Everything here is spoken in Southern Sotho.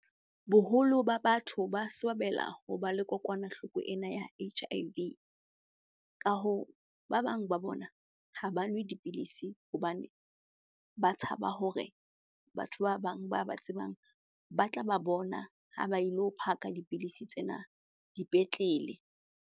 Boholo ba batho ba swabela hoba le kokwanahloko ena ya H_I_V. Ka hoo, ba bang ba bona ha ba nwe dipidisi hobane ba tshaba hore batho ba bang ba ba tsebang ba tla ba bona ha ba ilo phaka dipidisi tsena dipetlele.